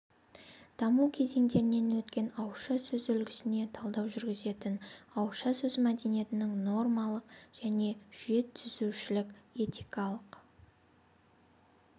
даму кезеңдерінен өткен ауызша сөз үлгісіне талдау жүргізетін ауызша сөз мәдениетінің нормалық және жүйетүзушілік этикалық